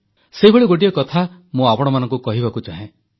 ସେଇଭଳି ଗୋଟିଏ କଥା ମୁଁ ଆପଣମାନଙ୍କୁ କହିବାକୁ ଚାହେଁ